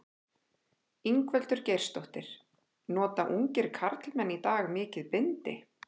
Ingveldur Geirsdóttir: Nota ungir karlmenn í dag mikið bindi?